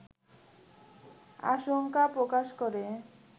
আশঙ্কা প্রকাশ করে